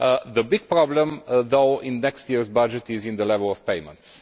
The big problem, though, in next year's budget is in the level of payments.